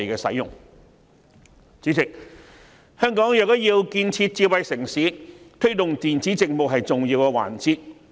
主席，香港若要建設智慧城市，推動電子政務便是重要一環。